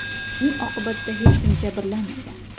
Uning oqibatida hech kim jabrlanmagan.